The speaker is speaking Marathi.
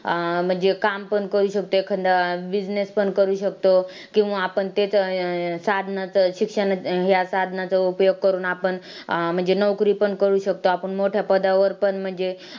अं म्हणजे काम पण करू शकतोय business पण करू शकतो किंवा आपण साधनाचं शिक्षण ह्या साधनाचं उपयोग करून आपण अं म्हणजे नोकरी पण करू शकतो आपणं मोठ्या पदावर पण म्हणजे